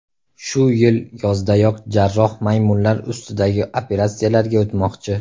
Shu yil yozdayoq jarroh maymunlar ustidagi operatsiyalarga o‘tmoqchi.